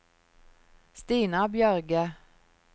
Stina Bjørge